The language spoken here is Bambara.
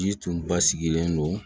Ji tun ba sigilen don